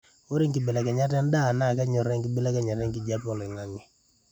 ore enkibelekenyat endaa naa kenyoraa enkibelekenyata enkijape oloingangi